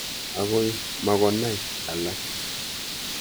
Ako makoi konai alake.